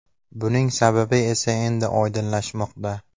Buning sababi esa endi oydinlashmoqda.